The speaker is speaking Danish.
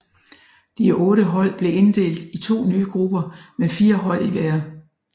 De otte hold blev inddelt i to nye grupper med fire hold i hver